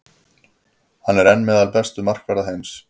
Hann er enn meðal bestu markvarða heims.